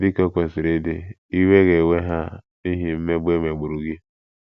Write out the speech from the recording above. Dị ka o kwesịrị ịdị, iwe ga - ewe ha n’ihi mmegbu e megburu gị.